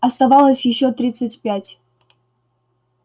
оставалось ещё тридцать пять